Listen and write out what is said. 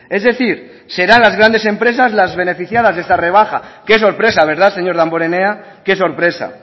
es decir serán las grandes empresas las beneficiadas de esta rebaja qué sorpresa verdad señor damborenea qué sorpresa